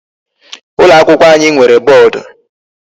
Ụlọ akwụkwọ anyị nwere boodu.